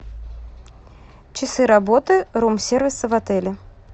часы работы рум сервиса в отеле